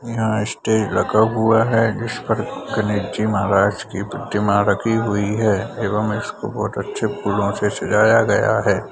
यहाँ स्टेज लगा हुआ है जिस पर गणेश जी महराज की प्रतिमा रखी हुई है एवं इसको बहुत अच्छे फूलो से सजाया गया है।